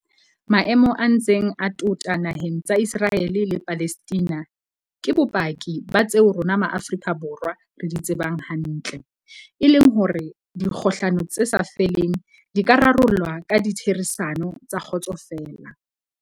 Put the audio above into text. Maemo a ntseng a tota na heng tsa Iseraele le Palestina ke bopaki ba tseo rona Ma afrika Borwa re di tsebang hantle, e leng hore dikgohlano tse sa feleng di ka rarollwa ka ditherisano tsa kgotso feela.